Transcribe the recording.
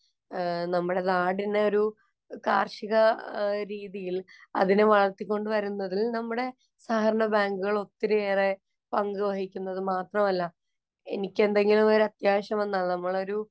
നമ്മുടെ നാടിന് ഒരു കാര്‍ഷിക രീതിയില്‍ അതിനെ വളര്‍ത്തികൊണ്ട് വരുന്നതില്‍ നമ്മുടെ സഹകരണബാങ്കുകള്‍ ഒത്തിരിയേറെ പങ്കു വഹിക്കുന്നു. അത് മാത്രമല്ല, എനിക്ക് എന്തെങ്കിലും ഒരു അത്യാവശ്യം വന്നാല്‍ നമ്മളൊരു